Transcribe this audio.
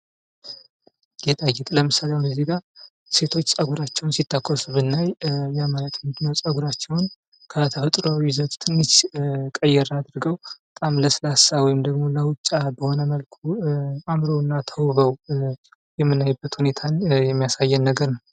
ጌጣጌጥ ለምሳሌ አሁን እዚህ ጋር ሴቶች ጸጉራቸውን ሲተኮሱ ብናይ ማለት ምንድ ነው ጸጉራቸውን ከተፈጥሮ ይዘቱ ትንሽ ቀየር አድርገው በጣም ለስላሳ ወይም ደግሞ ሉጫ በሆነ መልኩ አምረው እና ተውበው የሚያሳይ ነገር ነው።